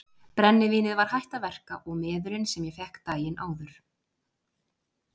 Brennivínið var hætt að verka og meðölin sem ég fékk daginn áður.